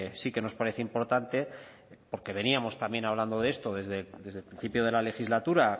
sí que nos parece importante porque veníamos también hablando de esto desde el principio de la legislatura